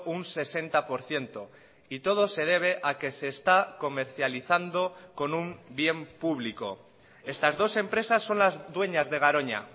un sesenta por ciento y todo se debe a que se está comercializando con un bien público estas dos empresas son las dueñas de garoña